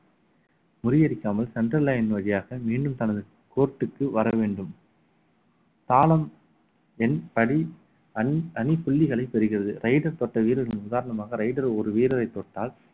முறியடிக்காமல் centre line வழியாக மீண்டும் தனது court க்கு வர வேண்டும் தாளம் என் தடி தனி புள்ளிகளை பெறுகிறது raider தோட்ட வீரர்களின் உதாரணமாக raider ஒரு வீரரை தொட்டால்